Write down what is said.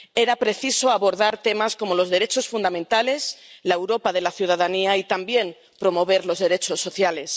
Era preciso abordar temas como los derechos fundamentales, la Europa de la ciudadanía y también promover los derechos sociales.